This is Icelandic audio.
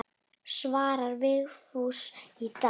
Svarar Vigfús í dag?